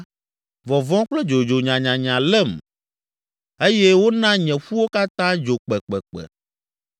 vɔvɔ̃ kple dzodzo nyanyanya lém eye wona nye ƒuwo katã dzo kpekpekpe.